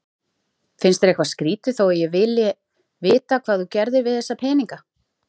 Finnst þér eitthvað skrýtið þó að ég vilji vita hvað þú gerðir við þessa peninga?